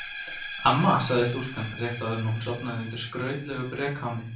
Amma, sagði stúlkan rétt áður en hún sofnaði undir skrautlegu brekáni.